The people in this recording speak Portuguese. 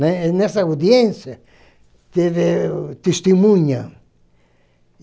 né. Nessa audiência, teve testemunha.